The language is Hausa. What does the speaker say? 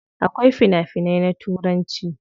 Akwai fina finai na turanci.